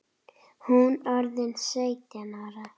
Hún orðin sautján ára.